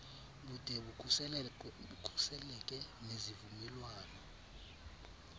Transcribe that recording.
bude bukhuseleke nezivumelwano